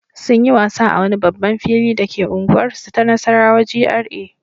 Sun yi wasa a wani babban fili dake unguwarsu ta Nassarawa GRA.